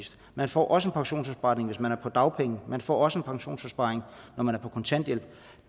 man får også en pensionsopsparing hvis man er på dagpenge man får også en pensionsopsparing når man er på kontanthjælp